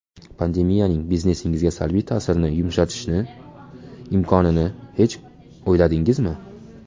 Pandemiyaning biznesingizga salbiy ta’sirni yumshatishni imkonini hech uyladingizmi?